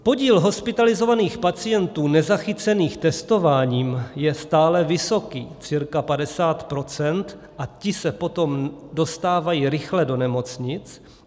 Podíl hospitalizovaných pacientů nezachycených testováním je stále vysoký - cirka 50 %- a ti se potom dostávají rychle do nemocnic.